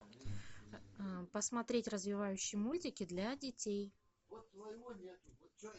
посмотреть развивающие мультики для детей